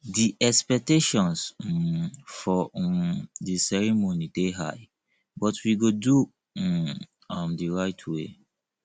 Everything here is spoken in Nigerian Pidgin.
di expectations um for um di ceremony dey high but we go do um am the right way